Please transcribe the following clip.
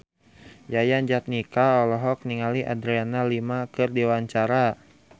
Yayan Jatnika olohok ningali Adriana Lima keur diwawancara